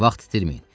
Vaxt itirməyin.